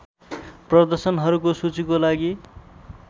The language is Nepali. प्रदर्शनहरूको सूचीको लागि